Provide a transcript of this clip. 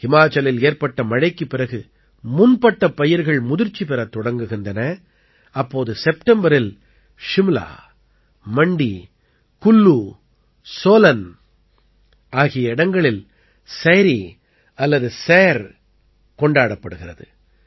ஹிமாச்சலில் ஏற்பட்ட மழைக்குப் பிறகு முன்பட்டப் பயிர்கள் முதிர்ச்சி பெறத் தொடங்குகின்றன அப்போது செப்டம்பரில் ஷிம்லா மண்டி குல்லு சோலன் ஆகிய இடங்களில் சைரீ அல்லது சைர் கொண்டாடப்படுகிறது